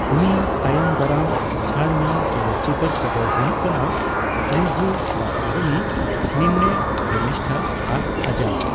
ᱩᱱᱤᱭᱟᱜ ᱛᱟᱭᱚᱢ ᱫᱟᱨᱟᱢ ᱪᱷᱟᱹᱲ ᱧᱟᱢ ᱪᱚᱞᱚᱛ ᱪᱤᱛᱟᱹᱨ ᱠᱚᱫᱚ ᱦᱩᱭᱩᱜ ᱠᱟᱱᱟ ᱱᱩᱵᱷᱩ ᱵᱟᱥᱛᱚᱵᱟᱱᱤ, ᱱᱤᱱᱱᱮ ᱯᱨᱮᱢᱤᱥᱴᱷᱟ ᱟᱨ ᱟᱡᱟᱫᱽ ᱾